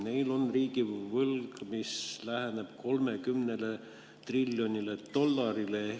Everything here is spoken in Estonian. Neil on riigivõlg, mis läheneb 30 triljonile dollarile.